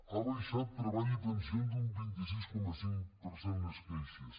ha baixat en treball i pensions un vint sis coma cinc per cent les queixes